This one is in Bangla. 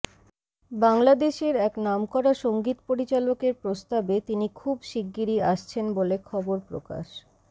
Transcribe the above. বাংলাদেশের এক নামকরা সংগীত পরিচালকের প্রস্তাবে তিনি খুব শিগগিরই আসছেন বলে খবর প্রকাশ